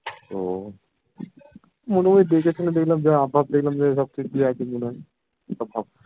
তো মনে হয় দেখে শুনে দেখলাম যা হাভ ভাব দেখলাম ঠিকই আছে মনে হয় হাভ ভাব